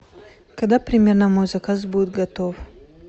когда примерно мой заказ будет готов